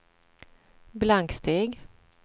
blanksteg